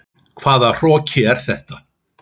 Hvaða hroki er þetta?